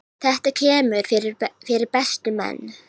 Þetta kemur fyrir bestu menn.